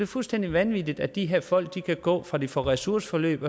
fuldstændig vanvittigt at de her folk kan gå fra de får ressourceforløb